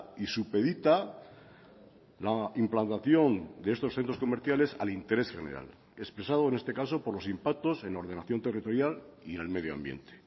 y supedita la implantación de estos centros comerciales al interés general expresado en este caso por los impactos en ordenación territorial y en el medio ambiente